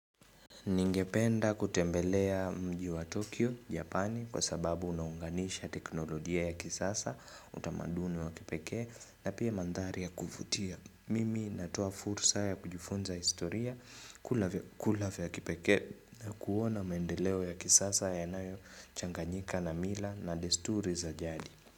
Ningependa kutembelea mji wa Tokyo, Japani kwa sababu unaunganisha teknolojia ya kisasa, utamaduni wa kipekee na pia mandhari ya kuvutia. Mimi natoa fursa ya kujifunza historia kula vya kipekee na kuona maendeleo ya kisasa yanayo changanyika na mila na desturi za jadi.